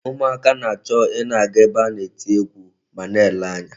Ụmụaka na-achọ ị na-aga ebe a na-eti egwu ma na-ele anya.